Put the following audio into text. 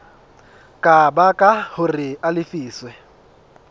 ka baka hore a lefiswe